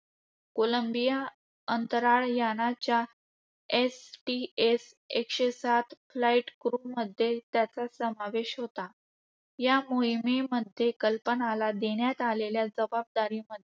Colombia अंतराळ यानाच्या STS -एकशे सात flight crew मध्ये त्याचा समावेश होता. या मोहिमेमध्ये कल्पनाला देण्यात आलेल्या जबाबदारीमध्ये